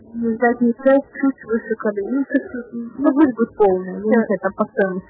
аа